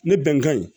Ne bɛnkan in